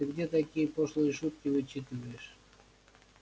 ты где такие пошлые шутки вычитываешь